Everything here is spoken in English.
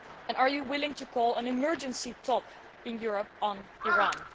Are you willing to call an emergency talk in Europe on Iran?